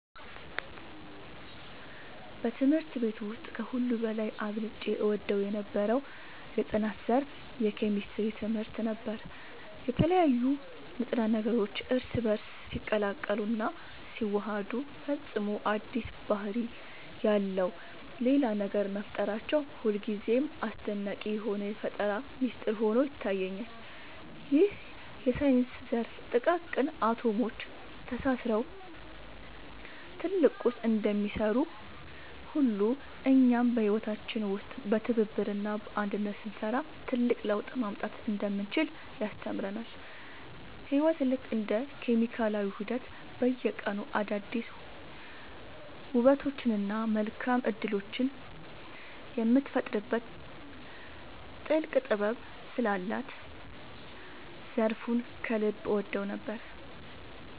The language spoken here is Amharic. በትምህርት ቤት ውስጥ ከሁሉ በላይ አብልጬ እወደው የነበረው የጥናት ዘርፍ የኬሚስትሪ ትምህርት ነበር። የተለያዩ ንጥረ ነገሮች እርስ በእርስ ሲቀላቀሉና ሲዋሃዱ ፈጽሞ አዲስ ባህሪ ያለው ሌላ ነገር መፍጠራቸው ሁልጊዜም አስደናቂ የሆነ የፈጠራ ሚስጥር ሆኖ ይታየኛል። ይህ የሳይንስ ዘርፍ ጥቃቅን አቶሞች ተሳስረው ትልቅ ቁስ እንደሚሰሩ ሁሉ፣ እኛም በህይወታችን ውስጥ በትብብርና በአንድነት ስንሰራ ትልቅ ለውጥ ማምጣት እንደምንችል ያስተምረናል። ህይወት ልክ እንደ ኬሚካላዊ ውህደት በየቀኑ አዳዲስ ውበቶችንና መልካም እድሎችን የምትፈጥርበት ጥልቅ ጥበብ ስላላት ዘርፉን ከልብ እወደው ነበር።